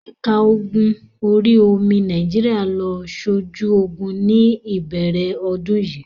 Ẹ̀ka ogun orí-omi Nàìjíríà lọ sójú ogun ní ìbẹ̀rẹ̀ ọdún yìí.